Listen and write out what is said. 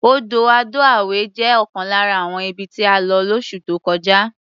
Odò Ado-Away jẹ́ ọ̀kan lára àwọn ibi tí a lọ lóṣù tó kọjá.